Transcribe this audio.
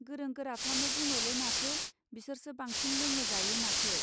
गोरों गोराफ्रानो बुङोलै माथो बिसोरसो बांसिन लोङो जायो माथो.